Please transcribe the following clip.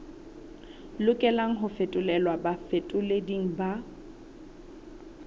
lokelang ho fetolelwa bafetoleding ba